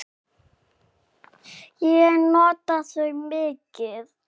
Ég nota þau mikið.